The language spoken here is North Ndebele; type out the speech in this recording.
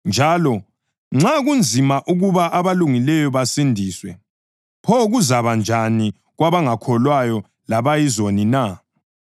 Njalo, “Nxa kunzima ukuba abalungileyo basindiswe, pho kuzakuba njani kwabangakholwayo labayizoni na?” + 4.18 Izaga 11.31